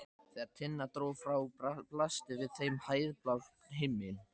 Þegar Tinna dró frá blasti við þeim heiðblár himinn.